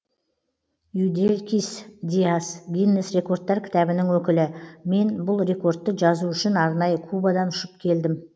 юделькис диас гиннес рекордтар кітабының өкілі мен бұл рекордты жазу үшін арнайы кубадан ұшып келдім